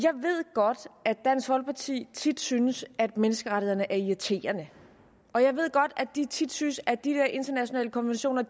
godt at dansk folkeparti tit synes at menneskerettighederne er irriterende og jeg ved godt at de tit synes at de der internationale konventioner